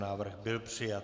Návrh byl přijat.